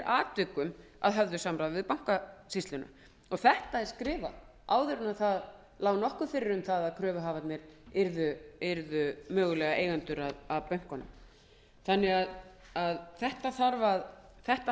atvikum að höfðu samráði við bankasýsluna þetta er skrifað áður en nokkuð lá fyrir um að kröfuhafarnir yrðu mögulega eigendur að bönkunum þetta